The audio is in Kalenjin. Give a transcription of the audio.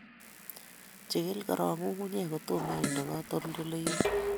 Jikil korok nyung'unyek kotomo inde katoldoloiwek